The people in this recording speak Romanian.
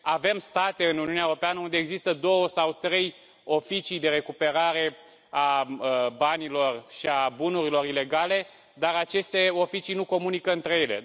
Avem state în Uniunea Europeană unde există două sau trei oficii de recuperare a banilor și a bunurilor ilegale, dar aceste oficii nu comunică între ele.